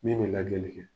Min bɛ lajɛli kɛ